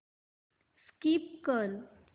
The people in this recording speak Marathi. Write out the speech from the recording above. स्कीप कर